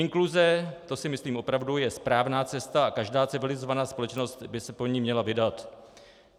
Inkluze - to si myslím opravdu - je správná cesta a každá civilizovaná společnost by se po ní měla vydat.